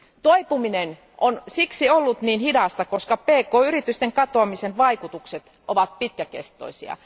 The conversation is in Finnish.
Toipuminen on ollut hidasta, koska pk yritysten katoamisen vaikutukset ovat pitkäkestoisia.